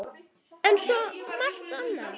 Eins og svo margt annað.